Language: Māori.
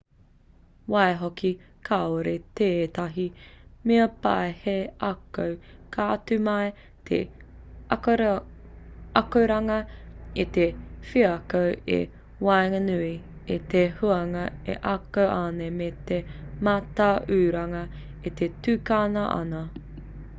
waihoki kāore tētahi mea pai hei ako.ka tū mai te akoranga i te wheako i waenganui i te hunga e ako ana me te mātauranga e tukuna ana